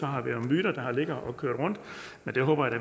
har været myter der har ligget og kørt rundt men dem håber jeg